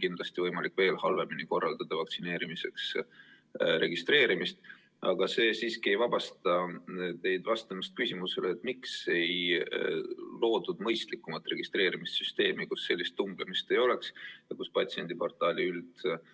Kindlasti on võimalik veel halvemini korraldada vaktsineerimiseks registreerimist, aga see siiski ei vabasta teid vastamast küsimusele, miks ei loodud mõistlikumat registreerimissüsteemi, kus sellist tõmblemist ei oleks ja patsiendiportaali üldised